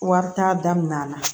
Wari t'a damin'a la